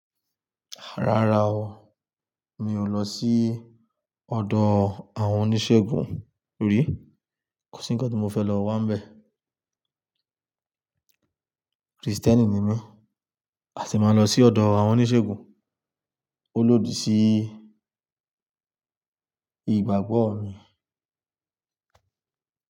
Rárá o, mi ò lọ sí ọ̀dọ̀ àwọn oníṣègùn rí. Kò sí ńkán tí mo fẹ́ lọ wá ńbẹ. Krìstẹ́nì ni mí, àti máa lọ sí ọ̀dọ̀ àwọn oníṣègùn, ó lòdì sí ìgbàgbọ́ mi.